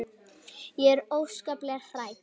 Ég er óskaplega hrædd.